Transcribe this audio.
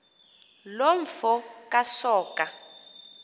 loo mfo kasoga